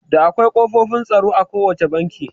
Da akwai ƙofofin tsaro a ko wacce banki